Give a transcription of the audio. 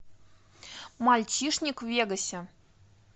мальчишник в вегасе